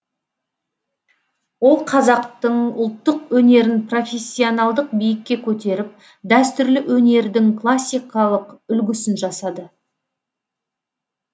ол қазақтың ұлттық өнерін профессионалдық биікке көтеріп дәстүрлі өнердің классикалық үлгісін жасады